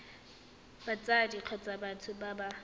batsadi kgotsa batho ba ba